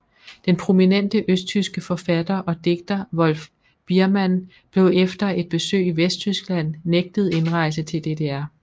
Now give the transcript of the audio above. Den prominente østtyske forfatter og digter Wolf Biermann blev efter et besøg i Vesttyskland nægtet indrejse til DDR